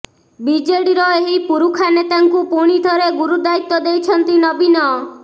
ବିଜେଡିର ଏହି ପୁରୁଖା ନେତାଙ୍କୁ ପୁଣିଥରେ ଗୁରୁଦାୟିତ୍ୱ ଦେଇଛନ୍ତି ନବୀନ